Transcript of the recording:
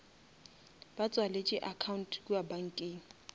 ke tswaletše account kua bankeng